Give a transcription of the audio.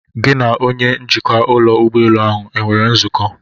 Gị na onye njikwa ụlọ ụgbọelu ahụ enwere nzukọ?